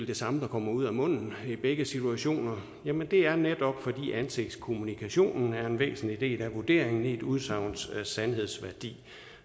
det samme der kommer ud af munden i begge situationer jamen det er netop fordi ansigtskommunikationen er en væsentlig del af vurderingen af et udsagns sandhedsværdi